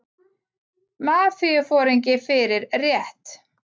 Mafíuforingi fyrir rétt